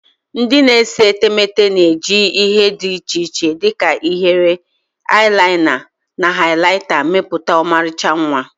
Ndị na-ese etemeete na-eji ihe dị iche iche dị ka ihiere, eyelina, and highlighta mepụta ọmarịcha mma.